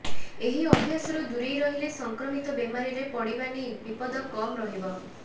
ଏହି ଅଭ୍ୟାସରୁ ଦୂରେଇ ରହିଲେ ସଂକ୍ରମିତ ବେମାରୀରେ ପଡିବା ନେଇ ବିପଦ କମ୍ ରହିବ